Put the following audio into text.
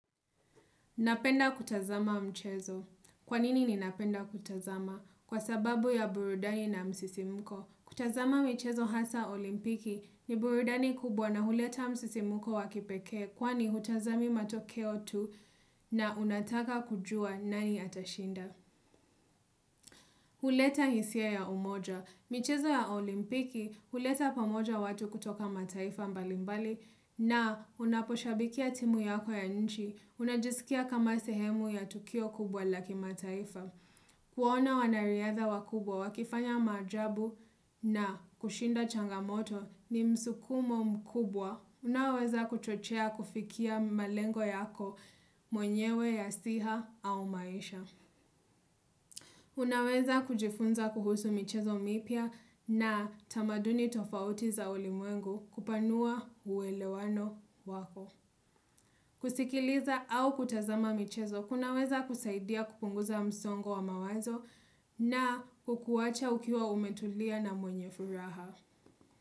Napenda kutazama mchezo. Kwanini ninapenda kutazama? Kwa sababu ya burudani na msisimuko. Kutazama michezo hasa olimpiki ni burudani kubwa na huleta msisimuko wakipekee kwani hutazami matokeo tu na unataka kujua nani atashinda. Huleta hisia ya umoja. Michezo ya olimpiki, huleta pamoja watu kutoka mataifa mbali mbali na, unaposhabikia timu yako ya nchi, unajisikia kama sehemu ya tukio kubwa la kimataifa. Kuwaona wanariadha wakubwa, wakifanya majaabu na kushinda changamoto ni msukumo mkubwa. Unaoweza kuchochea kufikia malengo yako, mwenyewe ya siha au maisha. Unaweza kujifunza kuhusu michezo mipya na tamaduni tofauti za ulimwengu, kupanua uwelewano wako. Kusikiliza au kutazama michezo kunaweza kusaidia kupunguza msongo wa mawazo na kukuwacha ukiwa umetulia na mwenye furaha.